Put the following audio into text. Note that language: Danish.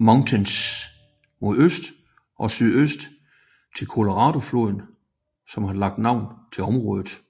Mountains mod øst og sydøst til Coloradofloden som har lagt navn til området